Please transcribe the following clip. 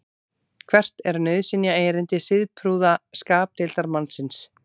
hvert er nauðsynjaerindi siðprúða skapdeildarmannsins